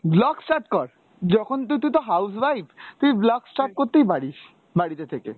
vlog start কর, যখন তু~ তুই তো house wife, তুই vlog start করতেই পারিস বাড়িতে থেকে